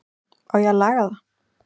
Á ég að laga það?